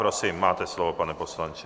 Prosím, máte slovo, pane poslanče.